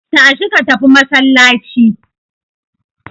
Tashi ka tafi masallaci!